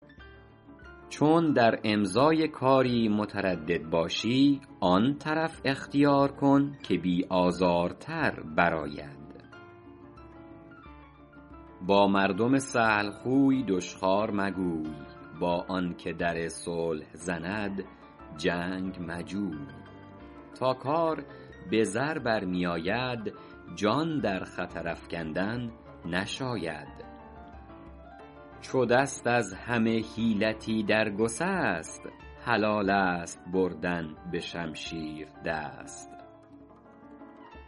چون در امضای کاری متردد باشی آن طرف اختیار کن که بی آزارتر بر آید با مردم سهل خوی دشخوار مگوی با آن که در صلح زند جنگ مجوی تا کار به زر برمی آید جان در خطر افکندن نشاید عرب گوید آخر الحیل السیف چو دست از همه حیلتی در گسست حلال است بردن به شمشیر دست